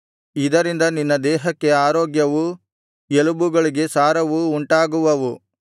ಇದರಿಂದ ನಿನ್ನ ದೇಹಕ್ಕೆ ಆರೋಗ್ಯವೂ ಎಲುಬುಗಳಿಗೆ ಸಾರವೂ ಉಂಟಾಗುವವು